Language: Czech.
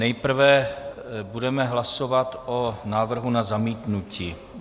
Nejprve budeme hlasovat o návrhu na zamítnutí.